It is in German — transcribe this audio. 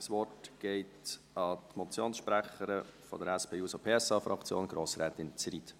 Das Wort geht an die Motionssprecherin der SP-JUSO-PSA-Fraktion, Andrea Zryd.